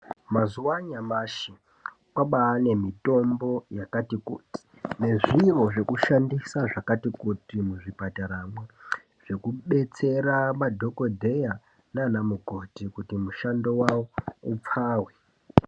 Mazuwa anyamashi kwabaa nemutombo yakati kuti nezviro zvekushandisa zvakati kuti muzvipataramwo zvekubetsera madhokotera nana mukoti kuti mushando yavo ipfave